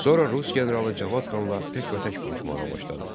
Sonra rus generalı Cavad xanla təkbətək vuruşmağa başladı.